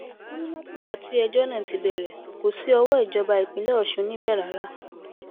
wọn ní látìgbà tí ẹjọ náà ti bẹrẹ kò sí owó ìjọba ìpínlẹ ọṣun níbẹ rárá